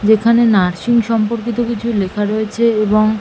যেখানে নার্সিং সম্পর্কিত কিছু লেখা রয়েছে এবং--